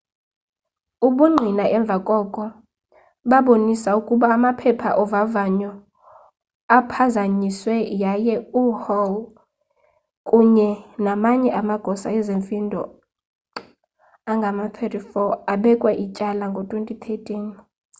ubungqina emva koko babonisa ukuba amaphepha ovavanyo aphazanyiswe yaye uhall kunye namanye amagosa ezemfundo angama-34 abekwa ityala ngo-2013